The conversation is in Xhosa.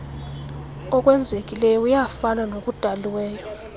okwenzekileyo kuyafana nokudaliweyo